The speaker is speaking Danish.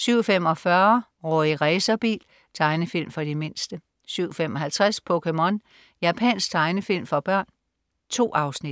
07.45 Rorri Racerbil. Tegnefilm for de mindste 07.55 POKéMON. Japansk tegnefilm for børn. 2 afsnit